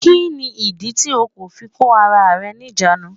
Kí ní ìdí tí o kò fi kó ara rẹ ní ìjánu?